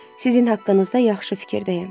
Sizin haqqınızda yaxşı fikirdəyəm.